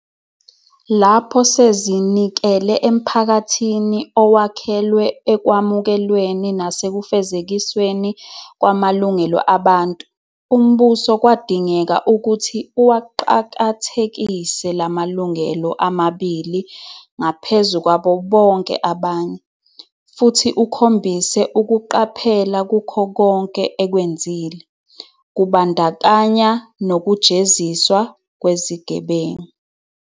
Lapho sezinikele emphakathini owakhelwe ekwamukelweni nasekufezekisweni kwamalungelo abantu, uMbuso kwadingeka ukuthi uwaqakathekise la malungelo amabili ngaphezu kwabo bonke abanye, futhi ukhombise ukuqaphela kukho konke ekwenzile, kubandakanya nokujeziswa kwezigebengu.